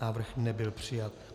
Návrh nebyl přijat.